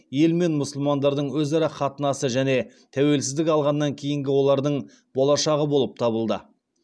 ел мен мұсылмандардың өзара қатынасы және тәуелсіздік алғаннан кейінгі олардың болашағы болып табылды